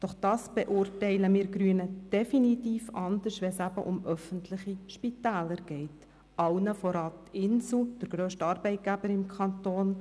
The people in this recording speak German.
Doch wir Grünen beurteilen es definitiv anders, wenn es um öffentliche Spitäler geht, allen voran das Inselspital, der grösste Arbeitgeber im Kanton.